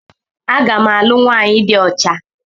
Aga m alụ nwaanyị dị ọcha.